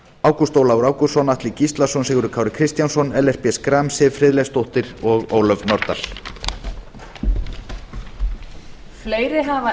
ágúst ólafur ágústsson atli gíslason sigurður kári kristjánsson ellert b schram siv friðleifsdóttir og ólöf nordal